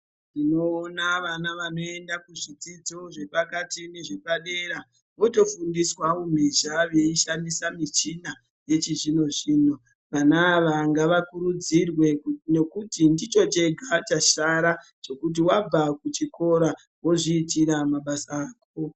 Tinoona vana vanoenda kuzvidzidzo zvepakati nezvepadera votofundiswa umhizha veishandisa michina yechizvino zvino. Vana ava ngavakurudzirwe ngekuti ndicho chega chasara chekuti wabva kuchikora wozviitira mabasa ako.